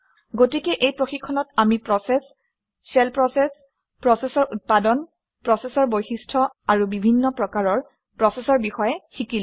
গতিকে এই প্ৰশিক্ষণত আমি প্ৰচেচ শ্বেল প্ৰচেচ প্ৰচেচৰ উৎপাদন প্ৰচেচৰ বৈশিষ্ট্য আৰু বিভিন্ন প্ৰকাৰৰ প্ৰচেচৰ বিষয়ে শিকিলো